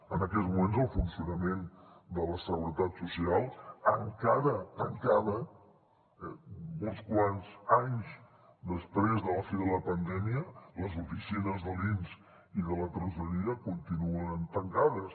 en aquests moments el funcionament de la seguretat social encara tancada uns quants anys després de la fi de la pandèmia les oficines de l’inss i de la tresoreria continuen tancades